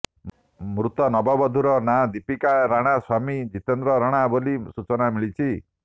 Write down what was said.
ମୃତ ନବବଧୂର ନାଁ ଦୀପିକା ରଣା ସ୍ୱାମୀ ଜିତେନ୍ଦ୍ର ରଣା ବୋଲି ସୂଚନା ମିଳିଛି